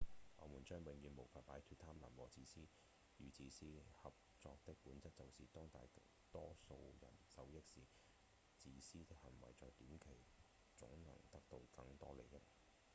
我們將永遠無法擺脫貪婪與自私合作的本質就是當大多數人受益時自私的行為在短期總能得到更多利益